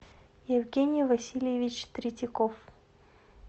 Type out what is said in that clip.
евгений васильевич третьяков